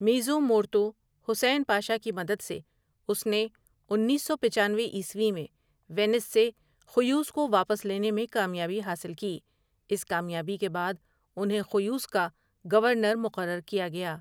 میزو مورتو حسین پاشا کی مدد سےاس نے انیس سو پچانوےعیسوی میں وینس سے خیوس کو واپس لینے میں کامیابی حاصل کی اس کامیابی کے بعد انہیں خیوس کا گورنر مقرر کیا گیا ۔